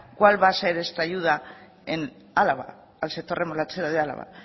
cuál va a ser esta ayuda en álava al sector remolachero de álava